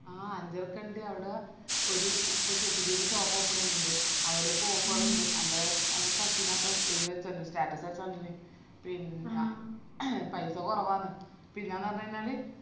ആ അഞ്ചരക്കണ്ടി അവിട ഒര് പുതി ഷോ പുതിയൊരു shop open ചെയ്യുന്നിൻഡ് അവിടിപ്പോ offer ണ്ട് അന്റെ അന്റെ cousin ആറ്റം ഇത് വെച്ചകാൻഡിന് status വെച്ചകാൻഡിന് പിന്ന paisa കൊറവന്ന്‌ പിന്നാന്ന് പറഞ്ഞകൈഞ്ഞാല്